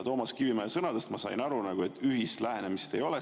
Toomas Kivimägi sõnadest ma sain aru, et ühist lähenemist ei ole.